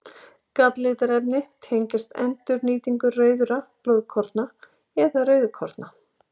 Galllitarefni tengjast endurnýtingu rauðra blóðkorna eða rauðkorna.